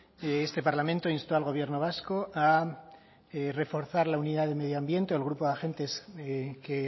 este parlamento instó al gobierno vasco a reforzar la unidad de medio ambiente el grupo de agentes que